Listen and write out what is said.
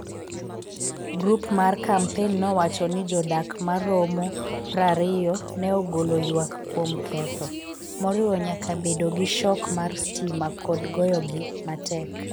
Grup mar kampen nowacho ni jodak ma romo 20 ne ogolo ywak kuom ketho, moriwo nyaka bedo gi shok mar stima kod goyogi matek.